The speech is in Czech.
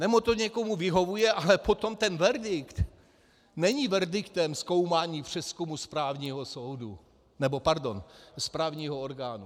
Nebo to někomu vyhovuje, ale potom ten verdikt není verdiktem zkoumání přezkumu správního soudu - nebo, pardon, správního orgánu.